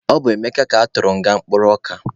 Ọ bụ Emeka ka atụrụ nga mkpụrụ ọka.